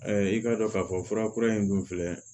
i k'a dɔn k'a fɔ furakura in dun filɛ